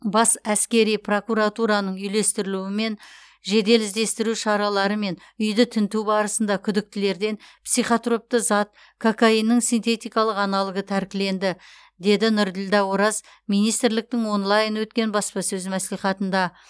бас әскери прокуратураның үйлестіруімен жедел іздестіру шаралары мен үйді тінту барысында күдіктілерден психотропты зат кокаиннің синтетикалық аналогы тәркіленді деді нұрділдә ораз министрліктің онлайн өткен баспасөз мәслихатында